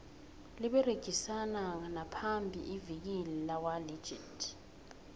liberegisana namaphi ivikile lakwa legit